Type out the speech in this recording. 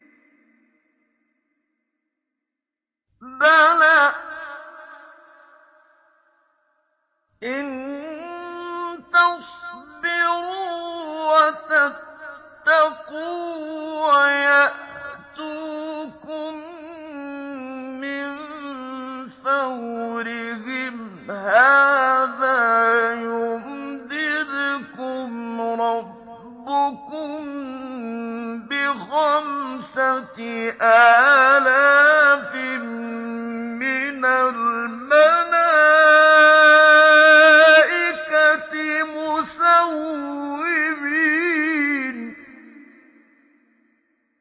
بَلَىٰ ۚ إِن تَصْبِرُوا وَتَتَّقُوا وَيَأْتُوكُم مِّن فَوْرِهِمْ هَٰذَا يُمْدِدْكُمْ رَبُّكُم بِخَمْسَةِ آلَافٍ مِّنَ الْمَلَائِكَةِ مُسَوِّمِينَ